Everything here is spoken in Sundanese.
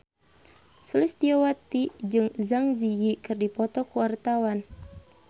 Sulistyowati jeung Zang Zi Yi keur dipoto ku wartawan